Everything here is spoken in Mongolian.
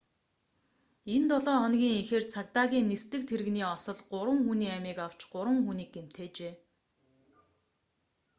энэ долоо хоногийн эхээр цагдаагийн нисдэг тэрэгний осол гурван хүний амийг авч гурван хүнийг гэмтээжээ